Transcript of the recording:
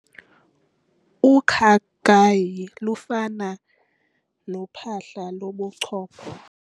Ukhakayi lufana nophahla lobuchopho.